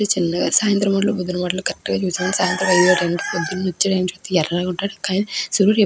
చల్లగా సాయంత్రం పొద్దున్న కరెక్ట్ గ చూసాను. సాయంత్రం వెళ్లే టైం కి పొద్దున వచ్చే టైం కి ఎర్రగా ఉంటాడు. కానీ సూర్యుడు ఎప్పుడు --